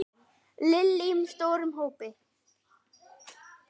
Lillý: Með stórum hópi?